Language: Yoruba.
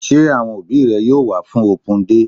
Sé àwọn òbí rẹ yóò wá fún open day?